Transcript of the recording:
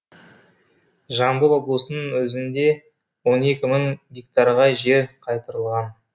жамбыл облысының өзінде он екі мың гектарға жер қайтарылған